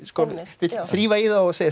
vill þrífa í þá og segja